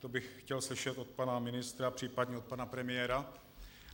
To bych chtěl slyšet od pana ministra, příp. od pana premiéra.